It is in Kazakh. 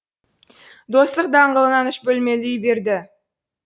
достық даңғылынан үш бөлмелі үй берді